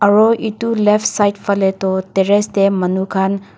aro itu left side phale toh terrace te manu khan--